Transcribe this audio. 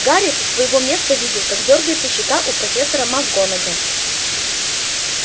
гарри со своего места видел как дёргается щека у профессора макгонагалл